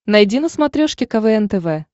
найди на смотрешке квн тв